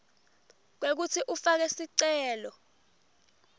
kwekutsi ufake sicelo